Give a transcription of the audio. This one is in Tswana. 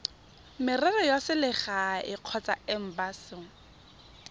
merero ya selegae kgotsa embasing